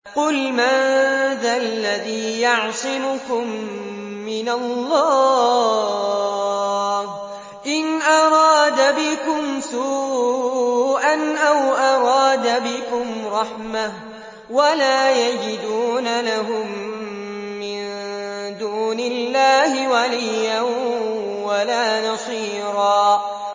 قُلْ مَن ذَا الَّذِي يَعْصِمُكُم مِّنَ اللَّهِ إِنْ أَرَادَ بِكُمْ سُوءًا أَوْ أَرَادَ بِكُمْ رَحْمَةً ۚ وَلَا يَجِدُونَ لَهُم مِّن دُونِ اللَّهِ وَلِيًّا وَلَا نَصِيرًا